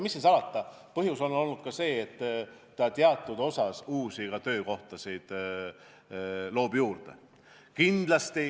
Mis siin salata, põhjus on olnud ka see, et teatud osas loob see uusi töökohtasid.